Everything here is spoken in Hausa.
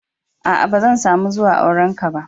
Aa, ba zan samu zuwan auren ka ba.